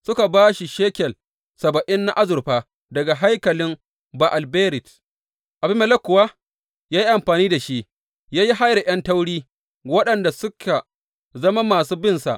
Suka ba shi shekel saba’in na azurfa daga haikalin Ba’al Berit, Abimelek kuwa ya yi amfani da shi ya yi hayar ’yan tauri waɗanda suka zama masu binsa.